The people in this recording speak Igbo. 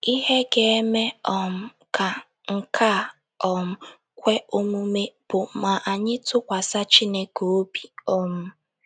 Ihe ga - eme um ka nke a um kwe omume bụ ma anyị tụkwasị Chineke obi. um